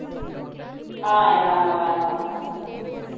ஆஹ் எல்லாம் நல்லா இருப்பாங்க